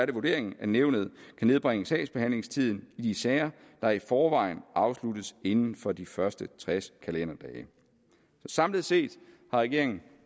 det vurderingen at nævnet kan nedbringe sagsbehandlingstiden i sager der i forvejen afsluttes inden for de første tres kalenderdage samlet set har regeringen